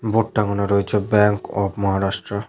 Board টাঙানো রয়েছে bank of Maharashtra.